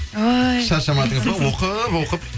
ой шаршамадыңыз ба оқып оқып